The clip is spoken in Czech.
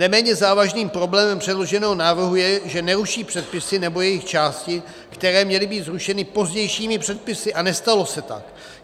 Neméně závažným problémem předloženého návrhu je, že neruší předpisy nebo jejich části, které měly být zrušeny pozdějšími předpisy, a nestalo se tak.